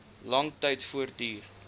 lang tyd voortduur